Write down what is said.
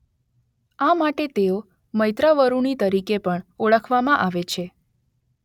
આ માટે તેઓ મૈત્રાવરુણિ તરીકે પણ ઓળખવામાં આવે છે.